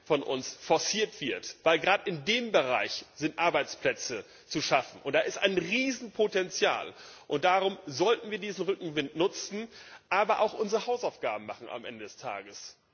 von uns forciert wird, weil gerade in dem Bereich Arbeitsplätze zu schaffen sind, und da besteht ein Riesenpotenzial. Darum sollten wir diesen Rückenwind nutzen, aber auch unsere Hausaufgaben machen am Ende des Tages.